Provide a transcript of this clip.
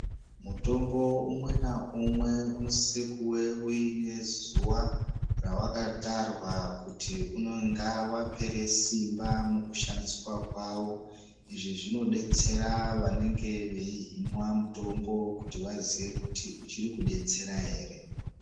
Mutombo umwe naumwe unosisa kuve uine zuva ravakatarwa kuti unenge vapera simba mukushandiswa kwavo. Izvi zvinobetsera vanenge veihinwa mutombo kuti vaziye kuti uchiri kubetsera ere.